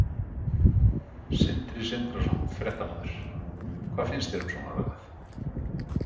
Sindri Sindrason, fréttamaður: Hvað finnst þér um svona lagað?